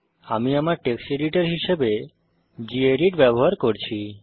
আমি আমার text editor হিসেবে গেদিত ব্যবহার করছি